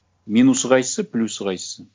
минусы қайсы плюсы қайсысы